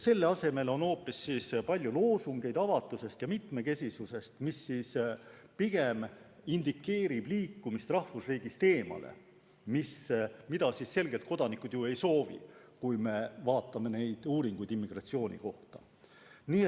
Selle asemel on hoopis palju loosungeid avatusest ja mitmekesisusest, mis pigem indikeerib liikumist rahvusriigist eemale, mida kodanikud selgelt ju ei soovi, kui vaatame immigratsiooni kohta tehtud uuringuid.